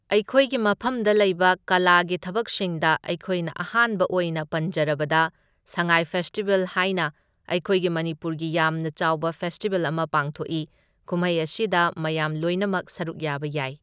ꯑꯩꯈꯣꯏꯒꯤ ꯃꯐꯝꯗ ꯂꯩꯕ ꯀꯂꯥꯒꯤ ꯊꯕꯛꯁꯤꯡꯗ ꯑꯩꯈꯣꯏꯅ ꯑꯍꯥꯟꯕ ꯑꯣꯏꯅ ꯄꯟꯖꯔꯕꯗ ꯁꯉꯥꯏ ꯐꯦꯁꯇꯤꯚꯦꯜ ꯍꯥꯏꯅ ꯑꯩꯈꯣꯏꯒꯤ ꯃꯅꯤꯄꯨꯔꯒꯤ ꯌꯥꯝꯅ ꯆꯥꯎꯕ ꯐꯦꯁꯇꯤꯚꯦꯜ ꯑꯃ ꯄꯥꯡꯊꯣꯛꯢ, ꯀꯨꯝꯍꯩ ꯑꯁꯤꯗ ꯃꯌꯥꯝ ꯂꯣꯏꯅꯃꯛ ꯁꯔꯨꯛ ꯌꯥꯕ ꯌꯥꯏ꯫